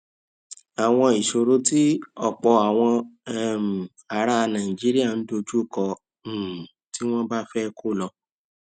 àwọn ìṣòro tí òpò àwọn um ará nàìjíríà ń dojú kọ um tí wón bá fé kó lọ